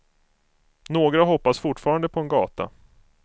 Några hoppas fortfarande på en gata.